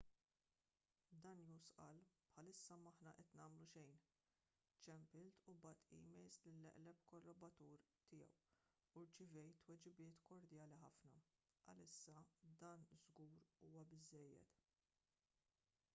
danius qal bħalissa m'aħna qed nagħmlu xejn ċempilt u bgħatt emails lill-eqreb kollaboratur tiegħu u rċevejt tweġibiet kordjali ħafna għalissa dan żgur huwa biżżejjed